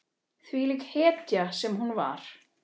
Þvílík hetja sem hún var.